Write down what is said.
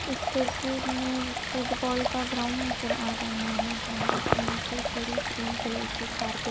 इस तस्वीर में फुटबॉल का ग्राउंड नजर आ रहा है जहां पे नीचे पूरी ग्रीन कलर की कारपेट --